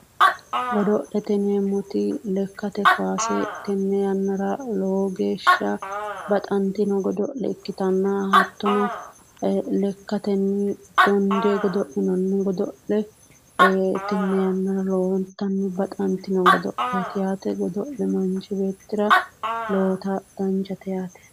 Godo'lete yineemmoti lekate kaasselowo geeshsha baxantino yannara lowontanni baxanttinnote hattono lekatenni dondanni godo'lenno tenne yananni lowontanni baxantinno yaate